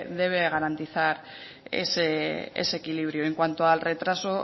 debe garantizar ese equilibrio en cuanto al retraso